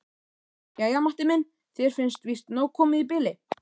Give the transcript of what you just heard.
Jæja, Matti minn, þér finnst víst nóg komið í bili.